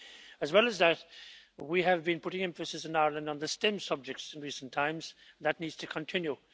As well as that, we have been putting emphasis in Ireland on the STEM subjects in recent times, and that needs to continue.